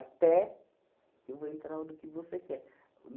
Até... Eu vou entrar no que você quer.